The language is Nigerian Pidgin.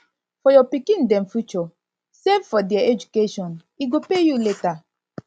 for your pikin dem future save for their education e go pay you later